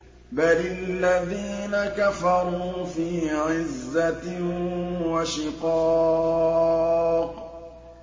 بَلِ الَّذِينَ كَفَرُوا فِي عِزَّةٍ وَشِقَاقٍ